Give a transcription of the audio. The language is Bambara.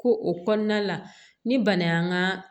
Ko o kɔnɔna la ni bana y'an ka